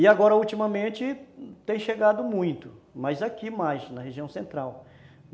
E agora, ultimamente, tem chegado muito, mas aqui mais, na região central.